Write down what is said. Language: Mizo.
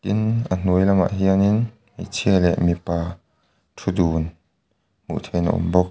tin a hnuai lamah hianin hmeichhia leh mipa thu dun hmuh theihin a awm bawk.